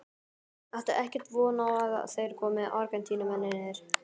Áttu ekkert von á að þeir komi Argentínumennirnir?